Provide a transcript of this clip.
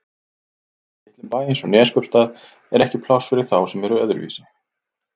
Í litlum bæ eins og Neskaupstað er ekki pláss fyrir þá sem eru öðruvísi.